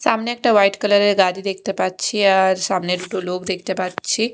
সামনে একটা white colour -এর গাড়ি দেখতে পাচ্ছি আর সামনে দুটো লোক দেখতে পাচ্ছি।